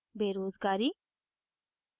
बेरोज़गारी